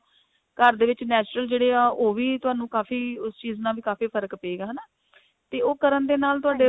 ਘਰ ਦੇ ਵਿੱਚ natural ਜਿਹੜੇ ਐ ਉਹ ਵੀ ਤੁਹਾਨੂੰ ਕਾਫ਼ੀ ਉਸ ਚੀਜ ਨਾਲ ਵੀ ਕਾਫੀ ਫਰਕ਼ ਪਏਗਾ ਹਨਾ ਤੇ ਉਹ ਕਰਨ ਦੇ ਨਾਲ ਤੁਹਾਡੇ